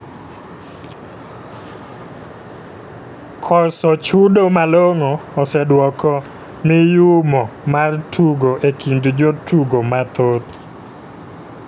Koso chudo malongo oseduoko miyumo mar tugo e kind jotugo mathoth.